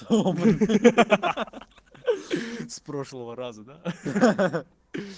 ха-ха ха с прошлого раза да ха-ха